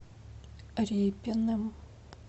репиным